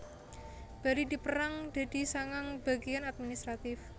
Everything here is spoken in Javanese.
Bari dipérang dadi sangang bagéan administratif